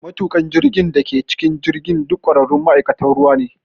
Matuƙan jirgin da ke cikin jirgin duk ƙwararrun ma’aikatan ruwa ne.